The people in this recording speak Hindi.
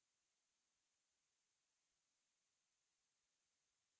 और ok button पर click करें